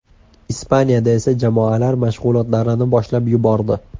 Ispaniyada esa jamoalar mashg‘ulotlarni boshlab yubordi.